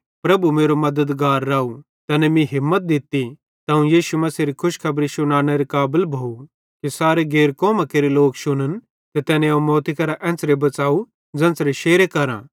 पन प्रभु मेरो मद्दतगार राव तैने मीं हिम्मत दित्ती ते अवं यीशु मसीहेरी खुशखबरी शुनानेरे काबल भोव कि सारे गैर कौमां केरे लोक शुन्न ते तैने अवं मौती करां एन्च़रे बच़ाव ज़ेन्च़रे शेरे करां